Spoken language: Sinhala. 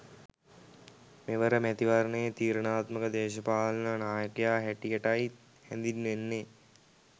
මෙවර මැතිවරණයේ තීරණාත්මක දේශපාලන නායකයා හැටියටයි හැදින්වෙන්නේ